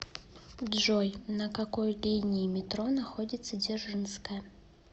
джой на какой линии метро находится дзержинская